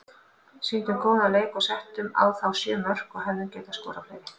Sýndum góðan leik og settum á þá sjö mörk og hefðum getað skorað fleiri.